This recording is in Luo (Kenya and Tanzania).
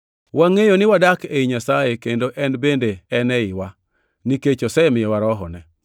Wangʼeyo ni wadak ei Nyasaye kendo en bende en eiwa, nikech osemiyowa Rohone.